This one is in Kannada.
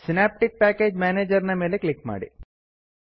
ಸಿನಾಪ್ಟಿಕ್ ಪ್ಯಾಕೇಜ್ ಮ್ಯಾನೇಜರ್ ನ ಮೇಲೆ ಕ್ಲಿಕ್ ಮಾಡಿ